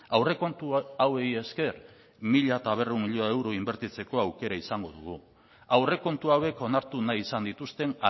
aurrekontu hauei esker mila berrehun milioi euro inbertitzeko aukera izango dugu aurrekontu hauek onartu nahi izan dituzten